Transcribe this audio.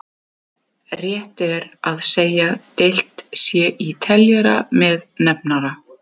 Hlöðver, hringdu í Reginbjörgu eftir þrjár mínútur.